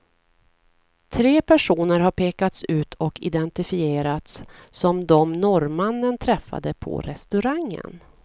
Tre personer har pekats ut och identifierats som dem norrmannen träffade på restaurangen.